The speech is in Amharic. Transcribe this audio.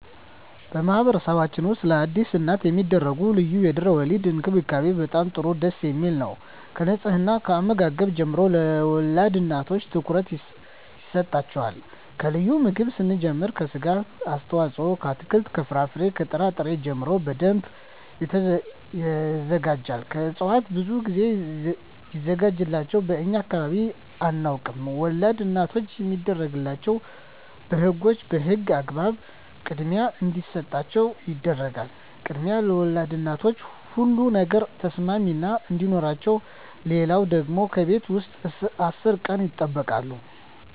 በማህበረሰብችን ውስጥ ለአዲስ እናት የሚደረጉ ልዩ የድህረ _ወሊድ እንክብካቤ በጣም ጥሩ ደስ የሚል ነው ከንጽሕና ከአመጋገብ ጀምሮ ለወልድ እናቶች ትኩረት ይሰጣቸዋል ከልዩ ምግብ ስንጀምር ከስጋ አስተዋጽኦ ከአትክልት ከፍራፍሬ ከጥራ ጥሪ ጀምሮ በደንብ ይዘጋጃል ከእጽዋት ብዙ ግዜ ሚዘጋጅላቸው በእኛ አካባቢ አናውቀውም ወላድ እናቶች የሚደረግላቸው በህጎች በህግ አግባብ ክድሚያ እንዲሰጣቸው ይደረጋል ክድሚያ ለወልድ እናቶች ሁሉ ነገር ተሰሚነት አዲኖረቸው ሌለው ደግሞ ከቤት ውስጥ አስር ቀን ይጠበቃሉ